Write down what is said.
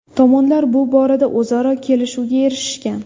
Tomonlar bu borada o‘zaro kelishuvga erishishgan.